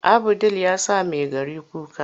Abu ɗil ya sa Maigari kuka.